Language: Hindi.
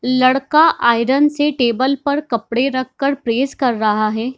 लड़का आयरन से टेबल पर कपड़े रख कर प्रेस कर रहा है।